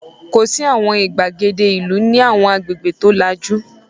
Kò sí àwọn ìgbàgede ìlú ní àwọn agbègbè tó lajú.